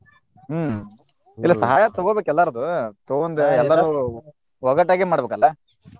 ಹ್ಮ್ ಇಲ್ಲ ಸಹಾಯ ತುಗೋಬೇಕ್ ಎಲ್ಲಾರ್ದು ತುಗೊಂದ ಎಲ್ಲಾರು ಒಗ್ಗಟ್ಟಾಗೆ ಮಾಡ್ಬೇಕಲ್ಲಾ.